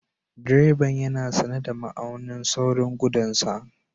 Direban yana sane da ma'aunin saurin gudun sa.